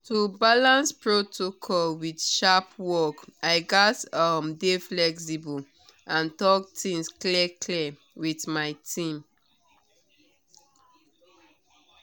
to balance protocol with sharp work i gats um dey flexible and talk things clear-clear with my team